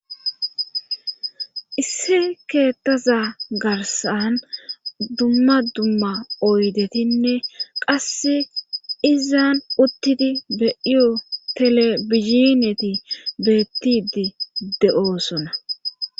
isse keettaza garsan dumma dumma oydetinne qasse izan uttidi be'iyo telebizhineti beettidi de'oosona